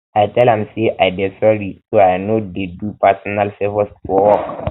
i tell am sey am sey i um dey sorry sey i no um dey do personal um fovours for work